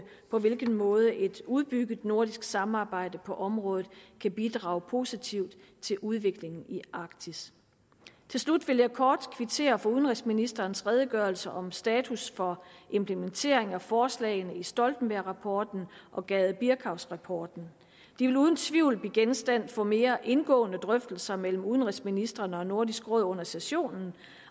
på hvilken måde et udbygget nordisk samarbejde på området kan bidrage positivt til udviklingen i arktis til slut vil jeg kort kvittere for udenrigsministerens redegørelse om status for implementering af forslagene i stoltenbergrapporten og gade birkavsrapporten de vil uden tvivl blive genstand for mere indgående drøftelser mellem udenrigsministrene og nordisk råd under sessionen